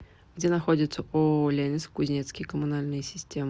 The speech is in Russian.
где находится ооо ленинск кузнецкие коммунальные системы